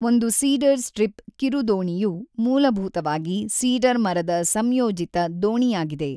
ಒಂದು cedar strip ಕಿರುದೋಣಿಯು ಮೂಲಭೂತವಾಗಿ ಸೀಡರ್ ಮರದ ಸಂಯೋಜಿತ ದೋಣಿಯಾಗಿದೆ.